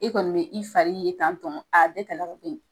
E kɔni bɛ i fari ye tan tɔ a bɛ ka